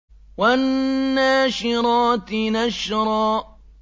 وَالنَّاشِرَاتِ نَشْرًا